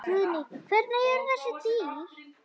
Guðný: Hvernig eru þessi dýr?